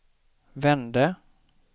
vände